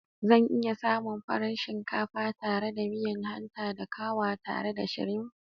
Zan iya samun farar shinkafa tare da miya hanta da kawa tare da shrimf?